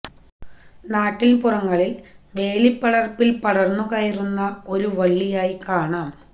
നാട്ടിന് പുറങ്ങളില് വേലിപ്പടര്പ്പില് പടര്ന്നു കയറുന്ന ഒരു വളളിയായി കാണാം